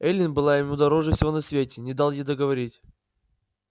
эллин была ему дороже всего на свете не дал ей договорить